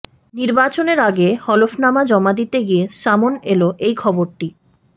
নির্বাচনের আগে হলফনামা জমা দিতে গিয়ে সামন এল এই খবরটি